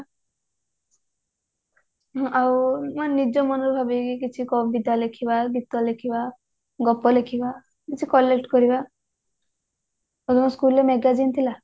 ହୁଁ ଆଉ ନିଜ ମନରୁ ଭାବିକି କିଛି କବିତା ଲେଖିବା ଗୀତ ଲେଖିବା ଗପ ଲେଖିବା କିଛି collect କରିବା ଆଉ ତମ school ରେ magazine ଥିଲା